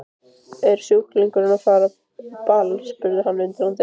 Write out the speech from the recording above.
Er sjúklingurinn að fara á ball? spurði hann undrandi.